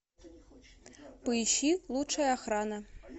поищи лучше охрана